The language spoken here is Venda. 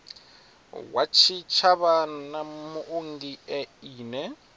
wa tshitshavha na muongi ine